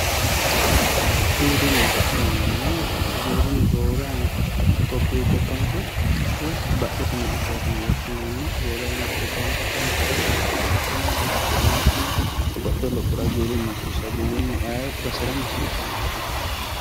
giwirinnaho yineemmohu giwirinnu roore anga topiyu gobbankera badhete miqichooti yine woshshinanni roore anaga gobbanke afantaahu itateno dada'lateno loosirateno babaxitewo lophora giwirinnu hasiisawo giwirinnu ayee baserano hasiisawonkeho